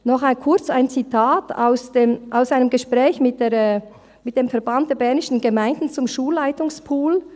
Noch kurz ein Zitat aus einem Gespräch mit dem Verband Bernischer Gemeinden (VBG) zum Schulleitungspool.